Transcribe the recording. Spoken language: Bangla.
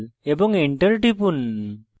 এবং enter টিপুন